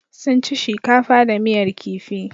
Sun ci shikafa da miyar kifi.